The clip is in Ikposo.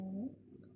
nhn